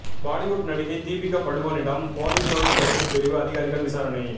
பாலிவுட் நடிகை தீபிகா படுகோனிடம் போதைப்பொருள் தடுப்பு பிரிவு அதிகாரிகள் விசாரணை